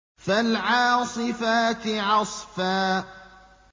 فَالْعَاصِفَاتِ عَصْفًا